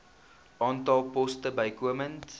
aantal poste bykomend